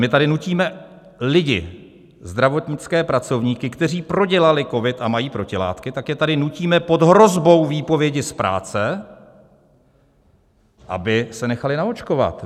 My tady nutíme lidi, zdravotnické pracovníky, kteří prodělali covid a mají protilátky, tak je tady nutíme pod hrozbou výpovědi z práce, aby se nechali naočkovat.